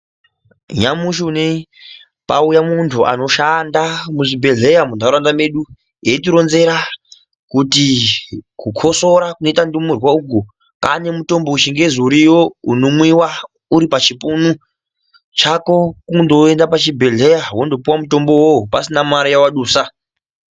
Nyamushi unei pauya muntu anoshanda muzvibhedhlera muntaraunda medu eitironzera kuti kukosora kunoita ndumurwa uku Kane mutombo wechingezi uriyo unomwiwa uripachipunu chako kundoenda pachibhedhlera wondopuwa mutombo uwowo pasina mare yaadusa.